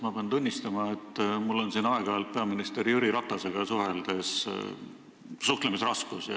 Ma pean tunnistama, et mul on siin aeg-ajalt peaminister Jüri Ratasega rääkides suhtlemisraskusi.